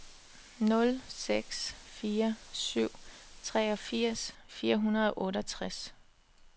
nul seks fire syv treogfirs fire hundrede og otteogtres